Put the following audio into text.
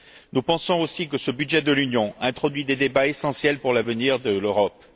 Nous pensons aussi que ce budget de l'Union introduit des débats essentiels pour l'avenir de l'Europe.